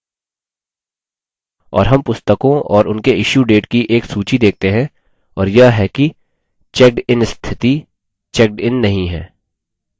और हम पुस्तकों और उनके issue date की एक सूची देखते हैं और यह कि checkedin स्थिति; checked इन नहीं है